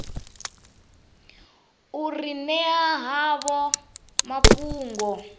u ri ṅea havho mafhungo